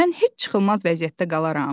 Mən heç çıxılmaz vəziyyətdə qalaram?